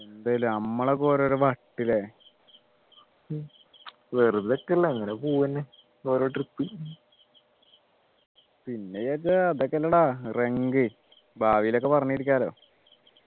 എന്താല്ലേ നമ്മളൊക്കെ ഓരോരോ വട്ട് ല്ലേ വെറുതെ ക്കെ അല്ലെ അങ്ങനെ പോകു എന്നെ ഒരോ trip പിന്നെ വിചാരിച്ച അതൊക്കെയല്ലേടാ റങ്ക് ഭാവിയിലേക്ക് പറഞ്ഞിരിക്കാലോ